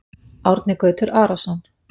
Árni Gautur Arason